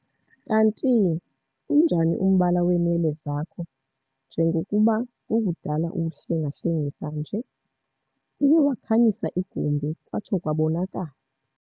Kantii unjani umbala weenwele zakho njengokuba kukudala uwuhlenga-hlengisa nje? Uye wakhanyisa igumbi kwatsho kwabonakala.